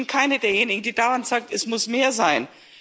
Ich bin keine derjenigen, die dauernd sagt, es muss mehr sein.